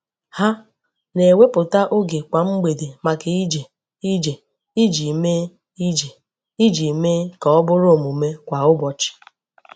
Ha na-ewepụta oge kwa mgbede maka ije ije iji mee ije iji mee ka ọ bụrụ omume kwa ụbọchị.